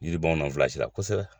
Yiri b'anw na kosɛbɛ.